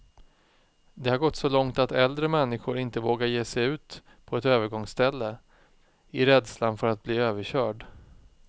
Det har gått så långt att äldre människor inte vågar ge sig ut på ett övergångsställe, i rädslan för att bli överkörd.